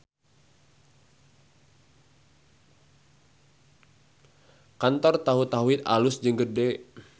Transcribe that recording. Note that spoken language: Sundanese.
Kantor Tahu Tauhid alus jeung gede